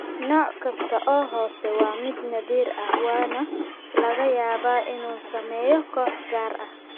Nooc kasta oo hoose waa mid naadir ah waxaana laga yaabaa inuu saameeyo koox gaar ah.